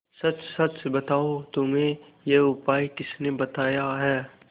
सच सच बताओ तुम्हें यह उपाय किसने बताया है